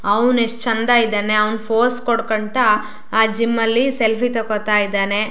ಅವ್ನು ಎಷ್ಟ ಚಂದಾ ಇದಾನೆ ಅವ್ನ ಫೋಸ್ ಕೊಡಕೊಂತ್ತಾ ಆ ಜಿಮ್ ಅಲ್ಲಿ ಸೆಲ್ಫಿ ತೊಕೊತ್ತಾ ಇದಾನೆ.